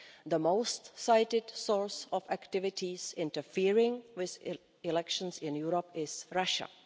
The most cited source of activities interfering with elections in Europe is Russia.